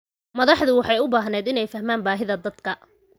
Madaxdu waxay u baahdeen inay fahmaan baahida dadka.